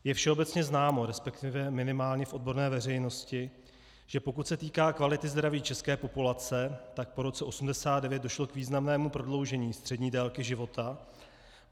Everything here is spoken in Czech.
Je všeobecně známo, respektive minimálně v odborné veřejnosti, že pokud se týká kvality zdraví české populace, tak po roce 1989 došlo k významnému prodloužení střední délky života.